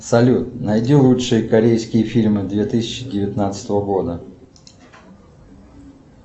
салют найди лучшие корейские фильмы две тысячи девятнадцатого года